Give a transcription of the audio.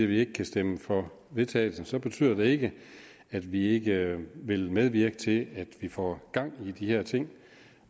vi ikke kan stemme for forslaget vedtagelse så betyder det ikke at vi ikke vil medvirke til at vi får gang i de her ting